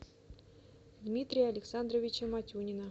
дмитрия александровича матюнина